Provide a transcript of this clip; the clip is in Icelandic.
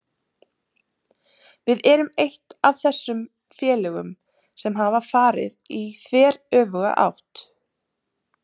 Við erum eitt af þessum félögum sem hafa farið í þveröfuga átt.